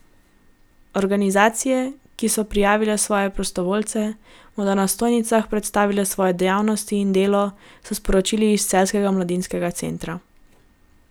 Organizacije, ki so prijavile svoje prostovoljce, bodo na stojnicah predstavile svoje dejavnosti in delo, so sporočili iz Celjskega mladinskega centra.